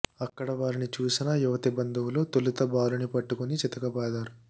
అక్కడ వారిని చూసిన యువతి బంధువులు తొలుత బాలుని పట్టుకుని చితకబాదారు